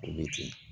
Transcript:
Olu ten ye